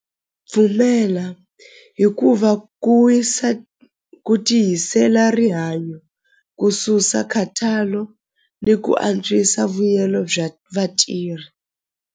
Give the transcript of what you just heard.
Pfumela hikuva ku wisa ku tiyisela rihanyo ku susa khathalo ni ku antswisa vuyelo bya vatirhi.